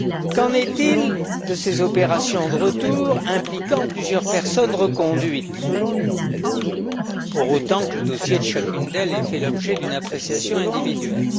Qu'en est il de ces opérations de retour impliquant plusieurs personnes reconduites, pour autant que le dossier de chacune d'elles ait fait l'objet d'une appréciation individuelle?